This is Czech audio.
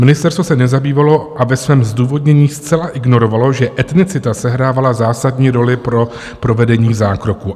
Ministerstvo se nezabývalo a ve svém zdůvodnění zcela ignorovalo, že etnicita sehrávala zásadní roli pro provedení zákroku.